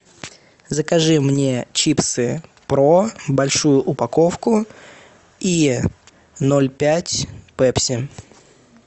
закажи мне чипсы про большую упаковку и ноль пять пепси